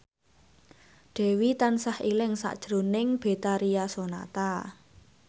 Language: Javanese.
Dewi tansah eling sakjroning Betharia Sonata